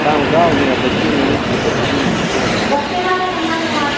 сам гаал не обратил на эти процедуры никакого внимания